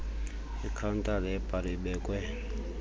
ikhawuntala yebhari ebekwe